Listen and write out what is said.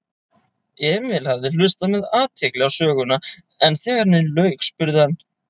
Emil hafði hlustað með athygli á söguna en þegar henni lauk spurði hann